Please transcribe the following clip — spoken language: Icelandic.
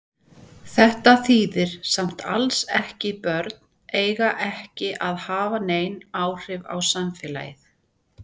Þetta þýðir samt alls ekki börn eiga ekki að hafa nein áhrif á samfélagið.